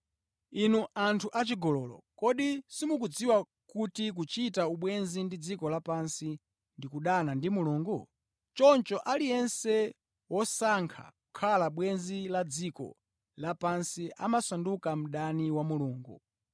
Inu anthu achigololo, kodi simukudziwa kuti kuchita ubwenzi ndi dziko lapansi ndi kudana ndi Mulungu? Choncho, aliyense wosankha kukhala bwenzi la dziko lapansi amasanduka mdani wa Mulungu.